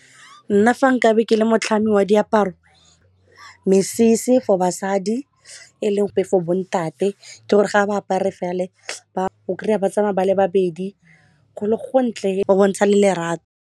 Nna fa nkabe ke le motlhami wa diaparo mesese for basadi eleng for bontate ke gore ga ba apare fale o kry-a ba tsamaya ba le babedi go le go ntle go bontsha le lerato.